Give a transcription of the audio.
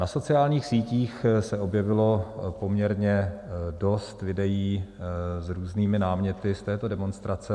Na sociálních sítích se objevilo poměrně dost videí s různými náměty z této demonstrace.